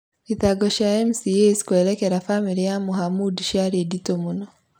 Thitango cia MCAs kwerekera bamĩrĩ ya Mohamud ciarĩ ndĩtũ mũno ,